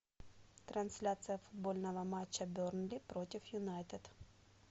трансляция футбольного матча бернли против юнайтед